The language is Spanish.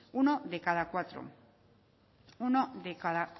uno de cada cuatro uno de cada